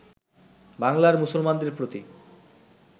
বাংলার মুসলমানদের প্রতি